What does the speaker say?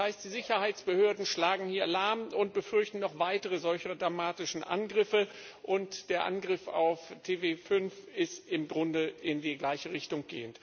Das heißt, die Sicherheitsbehörden schlagen hier Alarm und befürchten noch weitere solch dramatischen Angriffe, und der Angriff auf TV5 geht im Grunde in die gleiche Richtung.